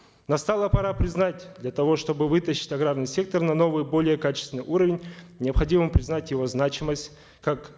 настала пора признать для того чтобы вытащить аграрный сектор на новый более качественный уровень необходимо признать его значимость как